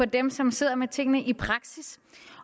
dem som sidder med tingene i praksis